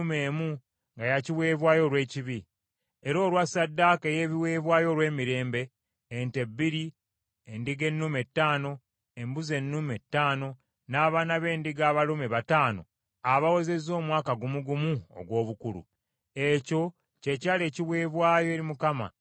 era olwa ssaddaaka ey’ebiweebwayo olw’emirembe: ente bbiri, endiga ennume ttaano, embuzi ennume ttaano, n’abaana b’endiga abalume bataano abawezezza omwaka gumu gumu ogw’obukulu. Ekyo kye kyali ekiweebwayo eri Mukama ekya Akira mutabani wa Enani.